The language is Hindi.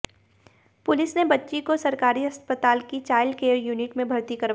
पुलिस ने बच्ची को सरकारी अस्पताल की चाइल्ड केयर यूनिट में भर्ती करवाया